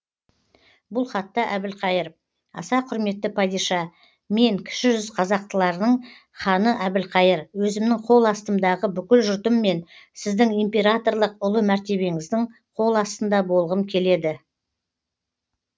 бұл хатта әбілқайыр аса құрметті падиша мен кіші жүз қазақтарылың ханы әбілқайыр өзімнің қол астымдағы бүкіл жұртыммен сіздің императорлық ұлы мәртебеңіздің қол астында болғым келеді